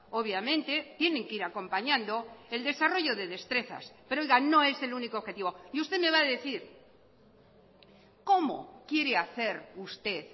obviamente tienen que ir acompañando el desarrollo de destrezas pero oiga no es el único objetivo y usted me va a decir cómo quiere hacer usted